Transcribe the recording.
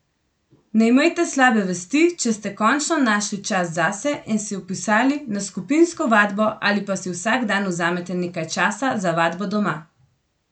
Ne imejte slabe vesti, če ste končno našli čas zase in se vpisali na skupinsko vadbo ali pa si vsak dan vzamete nekaj časa za vadbo doma.